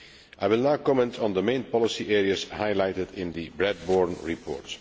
I will now comment on the main policy areas highlighted in the Bradbourn Report.